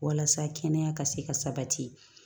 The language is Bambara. Walasa kɛnɛya ka se ka sabati